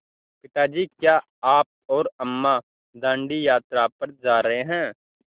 पिता जी क्या आप और अम्मा दाँडी यात्रा पर जा रहे हैं